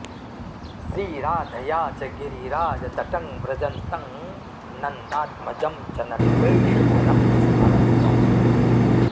श्रीराधया च गिरिराजतटं व्रजन्तं नन्दात्मजं च नटवेषधरं स्मर त्वम्